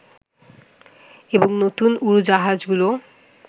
এবং নূতন উড়োজাহাজগুলো